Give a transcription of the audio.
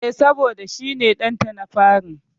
E, saboda shi ne ɗanta na fari.